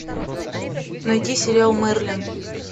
найди сериал мерлин